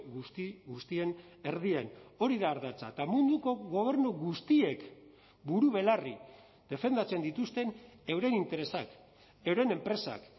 guzti guztien erdian hori da ardatza eta munduko gobernu guztiek buru belarri defendatzen dituzten euren interesak euren enpresak